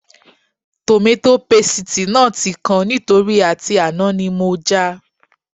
Tòmátò pasìtì náà tí kan nítorí àti àná ni mo já a